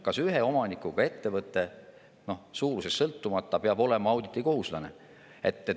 Kas ühe omanikuga ettevõte, suurusest sõltumata, peab olema auditikohuslane?